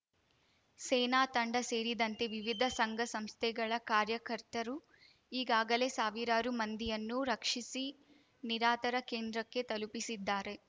ಸೇನಾ ತಂಡ ಸೇರಿದಂತೆ ವಿವಿಧ ಸಂಘ ಸಂಸ್ಥೆಗಳ ಕಾರ್ಯಕರ್ತರು ಈಗಾಗಲೇ ಸಾವಿರಾರು ಮಂದಿಯನ್ನು ರಕ್ಷಿಸಿ ನಿರಾತರ ಕೇಂದ್ರಕ್ಕೆ ತಲುಪಿಸಿದ್ದಾರೆ